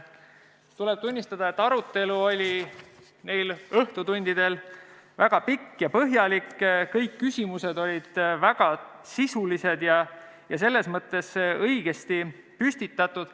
Tuleb tunnistada, et arutelu oli neil õhtutundidel väga pikk ja põhjalik, kõik küsimused olid väga sisulised ja selles mõttes õigesti püstitatud.